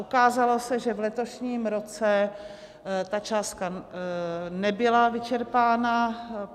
Ukázalo se, že v letošním roce ta částka nebyla vyčerpána.